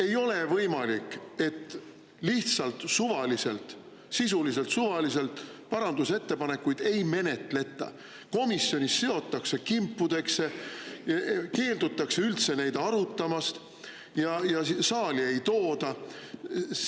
Ei ole võimalik, et lihtsalt suvaliselt, sisuliselt suvaliselt parandusettepanekuid ei menetleta, komisjonis seotakse need kimpudesse, keeldutakse üldse neid arutamast ja saali ei tooda.